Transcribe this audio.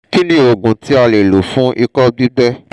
kí ni oògùn tí a lè lò fún iko gbígbẹ́?